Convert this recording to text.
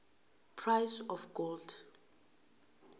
price of gold